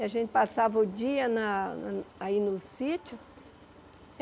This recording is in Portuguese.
E a gente passava o dia na aí no sítio.